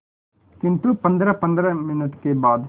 किंतु पंद्रहपंद्रह मिनट के बाद